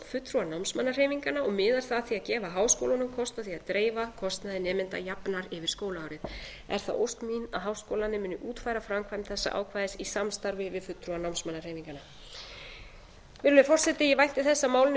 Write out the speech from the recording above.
fulltrúa námsmannahreyfinganna og miðar svo að því að gefa háskólunum kost á því að dreifa kostnaði nemenda jafnar yfir skólaárið er það ósk mín að háskólarnir muni útfæra framkvæmd þessa ákvæðis í samstarfi við fulltrúa námsmannahreyfinganna virðulegi forseti ég vænti þess að málinu verði